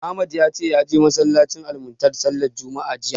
Ahmad ya ce ya je masallacin Almuntadha sallar juma'a jiya.